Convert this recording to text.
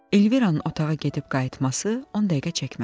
Elviranın otağa gedib qayıtması on dəqiqə çəkmədi.